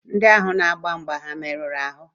Ndị ahụ na-agba mgbe ha merụrụ ahụ?